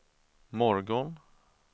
morgon